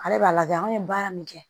Ale b'a lajɛ anw ye baara min kɛ